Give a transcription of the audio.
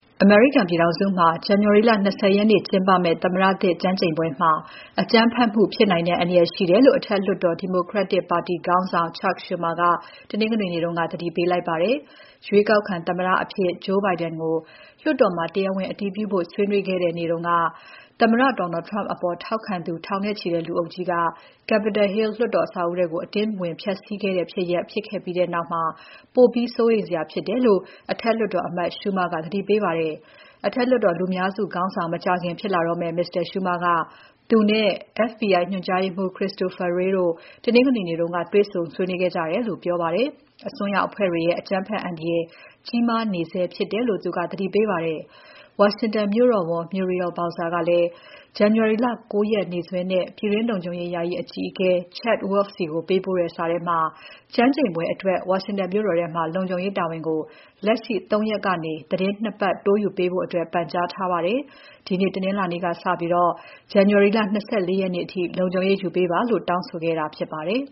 အမေရိကန်ပြည်ထောင်စုမှာ ဇန်နဝါရီလ ၂၀ ရက်နေ့ ကျင်းပမယ့် သမ္မတသစ် ကျမ်းကျိန်ပွဲမှာ အကြမ်းဖက်မှု ဖြစ်နိုင်တဲ့ အန္တရာယ်ရှိတယ်လို့ အထက်လွှတ်တော် Democratic ပါတီခေါင်းဆောင် Chuck Schumer က တနင်္ဂနွေနေ့က သတိပေးလိုက်ပါတယ်။ ရွေးကောက်ခံသမ္မတအဖြစ် Joe Biden ကိုလွှတ်တော်မှာ တရားဝင်အတည်ပြုဖို့ ဆွေးနွေးခဲ့တဲ့ နေ့တုန်းက သမ္မတ Donald Trump အပေါ်ထောက်ခံသူ ထောင်နဲ့ချီတဲ့လူအုပ်ကြီးက Capitol Hill လွှတ်တော် အဆောက်အဦးထဲ အတင်းဖျက်စီး ဝင်ရောက်ခဲ့တဲ့ဖြစ်ရပ် ဖြစ်ခဲ့ပြီးနောက် ပိုပြီးစိုးရိမ်စရာဖြစ်တယ်လို့ အထက်လွှတ်တော်အမတ် Schumer က သတိပေးပါတယ်။ အထက်လွှတ်တော်လူများစုခေါင်းဆောင် မကြာခင်ဖြစ်လာတော့မယ့် Mr. Schumer က သူနဲ့ FBI ညွှန်ကြားရေးမှူး Christopher Wray တို့ တနင်္ဂနွေနေ့က တွေ့ဆုံဆွေးနွေးခဲ့ကြတယ်လို့ပြောပါတယ်။ အစွန်းရောက်အဖွဲ့တွေရဲ့ အကြမ်းဖက်အန္တရာယ် ကြီးမားနေဆဲဖြစ်တယ်လို့ သူကပြောပါတယ်။ ဝါရှင်တန်မြို့တော်ဝန် Muriel Bowser ကလည်း ဇန်နဝါရီလ ၉ ရက်နေ့စွဲနဲ့ ပြည်တွင်းလုံခြုံရေး ယာယီအကြီးအကဲ Chad Wolf ဆီကို ပေးပို့တဲ့ စာထဲမှာ ကျမ်းကျိန်ပွဲအတွက် ဝါရှင်တန်မြို့တော်ထဲမှာ လုံခြုံရေးတာဝန်ကို လက်ရှိ ၃ ရက်ကနေ သီတင်း ၂ ပတ် တိုးယူပေးဖို့ ပန်ကြားခဲ့ပါတယ်။ ဒီနေ့ တနင်္လာနေ့က စပြီး ဇန်နဝါရီလ ၂၄ ရက်နေ့အထိ လုံခြုံရေးယူပေးပါလို့ တောင်းဆိုခဲ့တာဖြစ်ပါတယ်